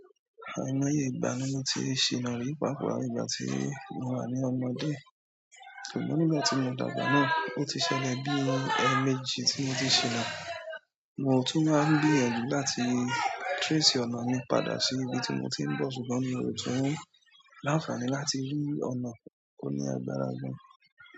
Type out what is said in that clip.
Àìmọye ìgbà ni mo ti ṣìnà rí, pàápa ìgbà tí mo wà ní omòde. Ṣùgbọ́n nígbà tí mo dàgbà náà, o ti ṣẹlẹ̀ bí eemejí tí mo ti ṣìnà. Mo tún ma ń gbìyànjú láti trace ọ̀nà mi padà sí ibi tí mo ti ń bọ̀, ṣùgbọ́n mi o tun láǹfàní láti rí ọ̀nà ó ní agbára gan.